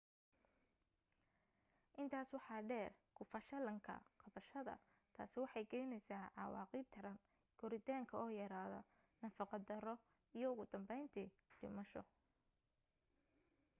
intaas waxa dheer ku fashalinka qabashada taasi waxay keenaysaa cawaaqib daran koritaanka oo yaraada nafaqo xumo iyo ugu danbayntii dhimasho